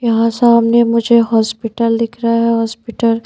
यहाँ सामने मुझे हॉस्पिटल दिख रहा है हॉस्पिटल --